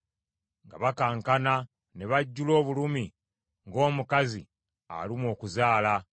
nga bakankana, ne bajjula obulumi ng’omukazi alumwa okuzaala.